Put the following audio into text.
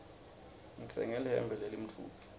ngitsenge lihembe lelimtfubi